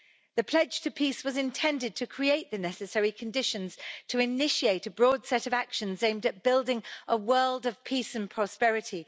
The Pledge to Peace was intended to create the necessary conditions to initiate a broad set of actions aimed at building a world of peace and prosperity.